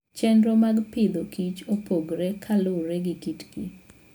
Chenro mag Agriculture and Food opogore kaluwore gi kitgi.